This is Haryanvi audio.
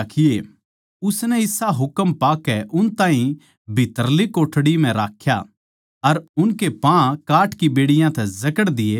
उसनै इसा हुकम पाकै उन ताहीं भीत्तरली कोठड़ी म्ह राख्या अर उनके पाँ काठ की बेड़ियाँ तै जकड़ दिये